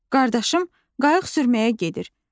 Qardaşım qayıq sürməyə gedir.